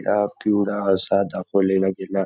निळा पिवळा असा दाखवलेला गेला--